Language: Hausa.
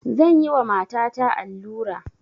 Zan yi wa matata allura